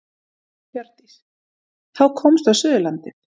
Hjördís: Þá komstu á Suðurlandið?